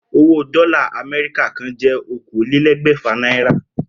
Owó dó̩là Àmé̩ríkà kan jé̩ okòólélé̩gbè̩fà náírà